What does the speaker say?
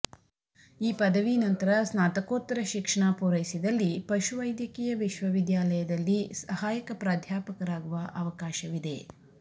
ಈ ಪದವಿ ನಂತರ ಸ್ನಾತಕೋತ್ತರ ಶಿಕ್ಷಣ ಪೂರೈಸಿದಲ್ಲಿ ಪಶುವೈದ್ಯಕೀಯ ವಿಶ್ವವಿದ್ಯಾಲಯದಲ್ಲಿ ಸಹಾಯಕ ಪ್ರಾಧ್ಯಾಪಕರಾಗುವ ಅವಕಾಶವಿದೆ